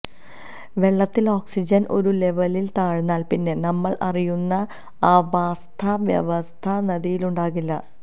വെള്ളത്തില് ഓക്സിജന് ഒരു ലെവലില് താഴ്ന്നാല് പിന്നെ നമ്മള് അറിയുന്ന ആവാസ്ഥവ്യവസ്ഥ നദിയിലുണ്ടാകില്ല